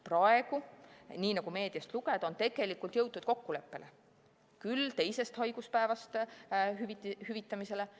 Praegu, nii nagu meediast lugeda, on tegelikult jõutud kokkuleppele – küll alates teisest haiguspäevast hüvitamise kohta.